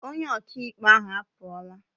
Onye akaebe ahụ apụọla.